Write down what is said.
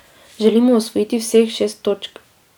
Želimo osvojiti vseh šest točk.